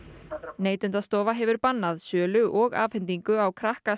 Neytendastofa hefur bannað sölu og afhendingu á krakka